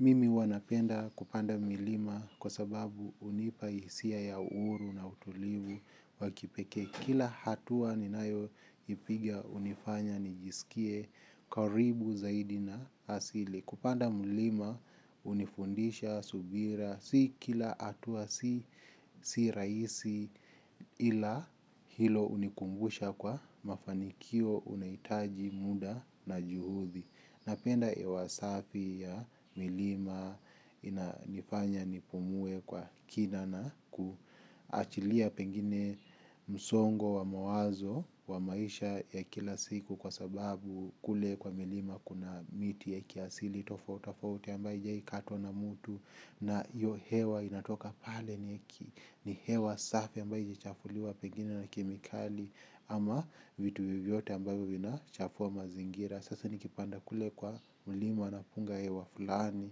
Mimi huwa napenda kupanda milima kwa sababu unipa hisia ya uhuru na utulivu wa kipekee kila hatua ninayoipiga unifanya nijisikie karibu zaidi na asili. Kupanda mlima unifundisha subira si kila hatua si rahisi ila hilo unikumbusha kuwa mafanikio unahitaji muda na juhudi. Napenda hewa safi ya milima inanifanya nipumue kwa kina na kuachilia pengine msongo wa mawazo wa maisha ya kila siku kwa sababu kule kwa milima kuna miti ya kiasili tofauti tofauti ambaye hijawahi katwa na mtu na hiyo hewa inatoka pale ni hewa safi ambaye hijachafuliwa pengine na kemikali ama vitu vyovyote ambayo vinachafua mazingira. Sasa nikipanda kule kwa mlima napunga hewa fulani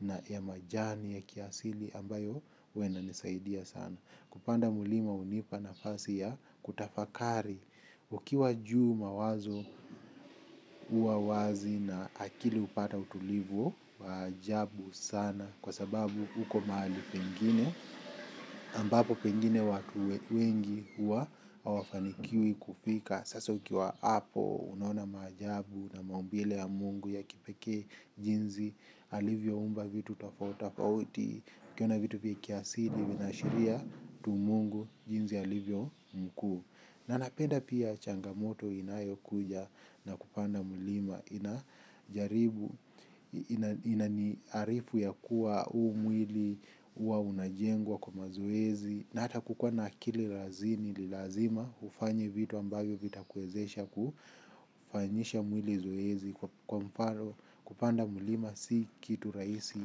na ya majani ya kiasili ambayo huwa inanisaidia sana. Kupanda mlima unipa nafasi ya kutafakari. Ukiwa juu mawazo huwa wazi na akili upata utulivu, wa ajabu sana kwa sababu uko mahali pengine. Ambapo pengine watu wengi huwa hawafanikiwi kufika. Sasa ukiwa hapo, unaona maajabu na maumbile ya Mungu ya kipekee jinsi, alivyoumba vitu tofauti tofauti, ukiona vitu vya kiasili, vinaashiria tu Mungu jinsi alivyo mkuu. Na napenda pia changamoto inayokuja na kupanda mlima ina jaribu inaniarifu ya kuwa uu mwili huwa unajengwa kwa mazoezi. Na hata kukuwa na akili razini ni lazima ufanye vitu ambayo vitakuwezesha kufanyisha mwili zoezi kwa mfano kupanda mulima si kitu rahisi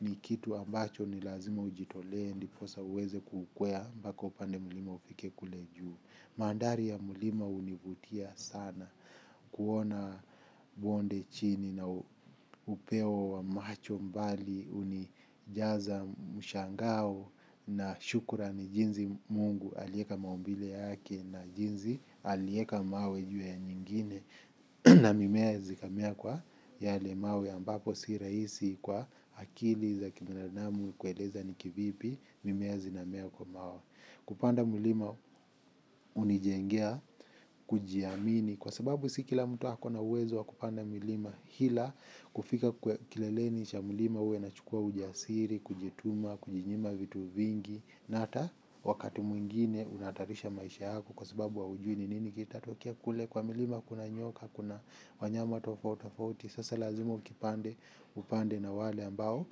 ni kitu ambacho ni lazima ujitolee ndiposa uweze kukwea mpaka upande mulima ufike kule juu. Mandhari ya mlima univutia sana kuona bonde chini na upeo wa macho mbali unijaza mshangao na shukurani jinsi Mungu aliweka maumbile yake na jinsi aliweka mawe juu ya nyingine. Na mimea zikamea kwa yale mawe ambapo si rahisi kwa akili za kibinadamu kueleza ni kivipi mimea zinamea kwa mawe. Kupanda mlima unijengea, kujiamini, kwa sababu si kila mtu ako na uwezo wa kupanda milima hila. Kufika kwa kileleni cha mlima huwa inachukua ujasiri, kujituma, kujinyima vitu vingi. Na hata wakati mwingine unahatarisha maisha yako kwa sababu haujui ni nini kitatokea kule kwa milima kuna nyoka kuna wanyama tofauti tofauti. Sasa lazima ukipanda upande na wale ambao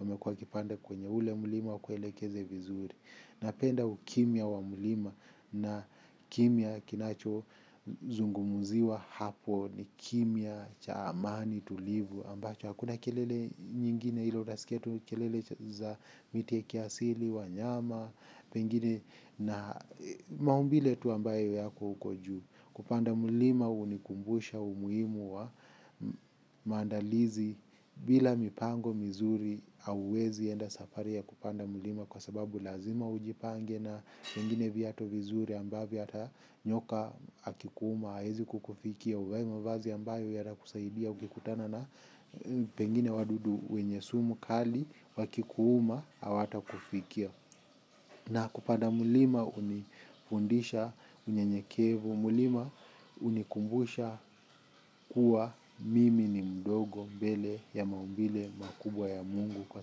wamekuwa wakipanda kwenye ule mlima wakuelekeze vizuri. Napenda ukimya wa mlima na kimya kinacho zungumziwa hapo ni kimya cha amani tulivu ambacho hakuna kelele nyingine ile utasikia tu kelele za miti ya kiasili, wanyama, pengine na maumbile tu ambayo yako huko juu. Kupanda mlima unikumbusha umuhimu wa maandalizi bila mipango mizuri hauwezi enda safari ya kupanda mlima kwa sababu lazima ujipange na pengine viatu vizuri ambavyo hata nyoka akikuuma hawezi kukufikia. Uvae mavazi ambayo yanakusaidia ukikutana na pengine wadudu wenye sumu kali. Wakikuuma hawatakufikia. Na kupanda mlima unifundisha unyenyekevu. Mlima unikumbusha kuwa mimi ni mdogo mbele ya maumbile makubwa ya Mungu. Kwa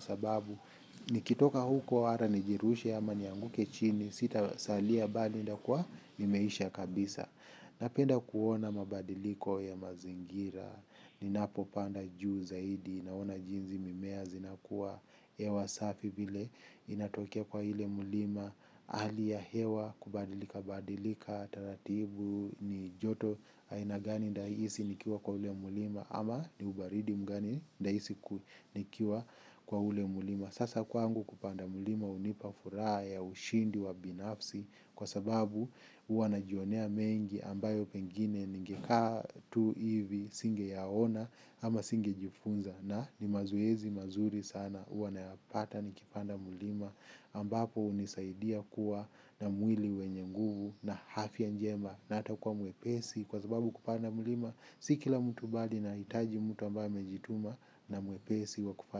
sababu nikitoka huko hata nijirushe ama nianguke chini. Sitasalia bali nitakuwa nimeisha kabisa. Napenda kuona mabadiliko ya mazingira, ninapopanda juu zaidi, naona jinsi mimea zinakua, hewa safi vile inatokea kwa ile mlima, hali ya hewa, kubadilika, badilika, taratibu, ni joto aina gani nitaihisi nikiwa kwa ule mlima, ama ni ubaridi mgani nitahisi nikiwa kwa ule mlima. Sasa kwangu kupanda mlima unipa furaha ya ushindi wa binafsi kwa sababu huwa najionea mengi ambayo pengine ningekaa tu hivi singeyaona ama singejifunza. Na ni mazoezi mazuri sana huwa nayapata nikipanda mlima ambapo unisaidia kuwa na mwili wenye nguvu na afya njema na hata kuwa mwepesi kwa sababu kupanda mlima. Si kila mtu bali inahitaji mtu ambaye amejituma na mwepesi wa kupa.